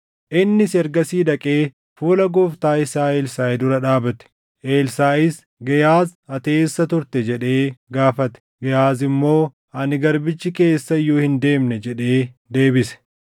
Innis ergasii dhaqee fuula gooftaa isaa Elsaaʼi dura dhaabate. Elsaaʼis, “Gehaaz, ati eessa turte?” jedhee gaafate. Gehaaz immoo, “Ani garbichi kee eessa iyyuu hin deemne” jedhee deebise.